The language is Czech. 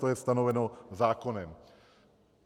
To je stanoveno zákonem.